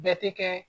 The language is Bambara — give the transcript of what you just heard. Bɛɛ tɛ kɛ